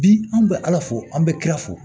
Bi an bɛ ala fo an bɛ kira fo